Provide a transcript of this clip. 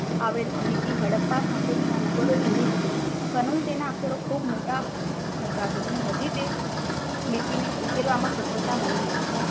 આવેલ લીટી હડપ્પા સંસ્કૃતિના નદારો જેવી જ છે. પરંતુ તેના અક્ષરો ખુબ મોટા છે. અને હજી તે લિપિ ને ઉકેલવામાં સફળતા મળી નથી.